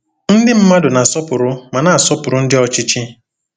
Ndị mmadụ na-asọpụrụ ma na-asọpụrụ ndị ọchịchị.